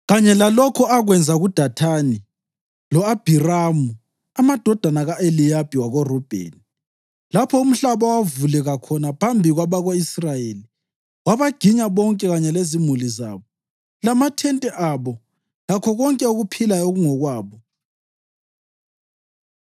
kanye lalokho akwenza kuDathani lo-Abhiramu, amadodana ka-Eliyabi wako-Rubheni. Lapho umhlaba owavuleka khona phambi kwabako-Israyeli wabaginya bonke kanye lezimuli zabo, lamathente abo lakho konke okuphilayo okwakungokwabo.